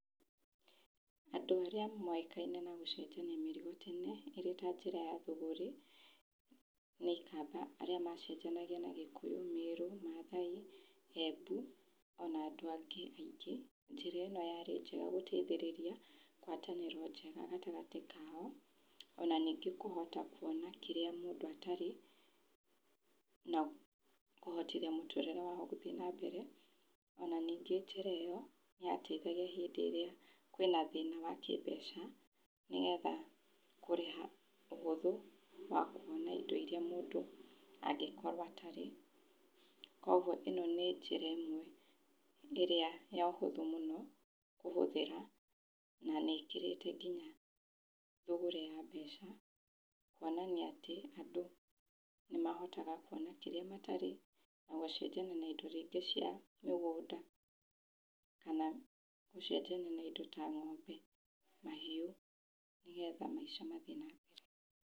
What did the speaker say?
Andũ aria moĩkaine na gũcenjania mĩrigo tene ĩrĩ ta njĩra ya thũgũrĩ nĩ ikamba, arĩa macenjanagia na gĩkũyũ , mĩrũ , mathai, embu ona andũ angĩ aingĩ, njĩra ĩno yarĩ njega gũteithĩrĩria ngwatanĩro njega gatagatĩ kao ona ningĩ kũhota kũona kĩrĩa mũndũ atarĩ na kũhotithia mũtũrĩre wao gũthĩe nambere ona ningĩ njĩra ĩyo niyateithagia hĩndĩ ĩrĩa kwĩna thĩna wa kĩmbeca nĩgetha kũrĩha ũhũthũ wa kuona indo iria mũndũ angĩkorwo atarĩ kwa ũguo ĩno nĩ njĩra ĩmwe ĩrĩa ya ũhuthũ mũno kũhũthĩra na nĩ ĩkĩrĩte nginya thũgũrĩ ya mbeca kuonania atĩ andũ nĩmahotaga kuona kĩrĩa matarĩ na gũcenjania na indo rĩngĩ cia mĩgũnda kana gũcenjania na indo ta ng'ombe mahiu nĩgetha maica mathĩe na mbere.